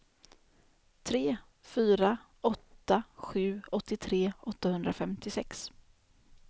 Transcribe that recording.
tre fyra åtta sju åttiotre åttahundrafemtiosex